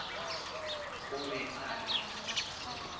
o be a re a